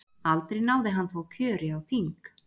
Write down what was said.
aldrei náði hann þó kjöri á þing